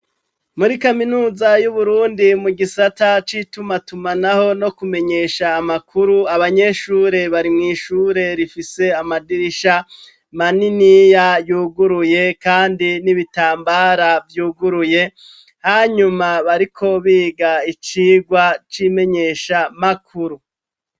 Muri kaminuza y'Uburundi mu gisata c'itumatumanaho no kumenyesha amakuru abanyeshure bari mw'ishure rifise amadirisha maniniya yuguruye kandi n'ibitambara vyuguruye hanyuma bariko biga icigwa c'imenyeshamakuru.